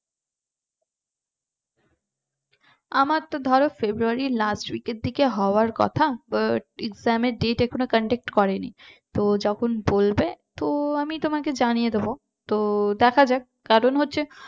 আমার তো ধরো ফেব্রুয়ারির last week র দিকে হওয়ার কথা but exam এর date এখনো conduct করে নি তো যখন বলবে তো আমি তোমাকে জানিয়ে দেবো তো দেখা যাক কারণ হচ্ছে